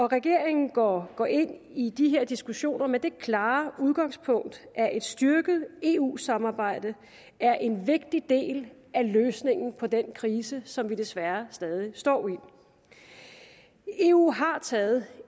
regeringen går går ind i de her diskussioner med det klare udgangspunkt at et styrket eu samarbejde er en vigtig del af løsningen på den krise som vi desværre stadig står i eu har taget